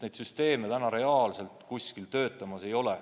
Need süsteemid praegu reaalselt kuskil ei tööta.